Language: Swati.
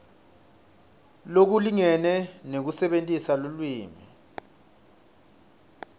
lokulingene nekusebentisa lulwimi